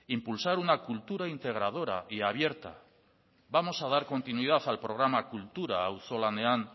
impulsar una cultura integradora y abierta vamos a dar continuidad al programa kultura auzolanean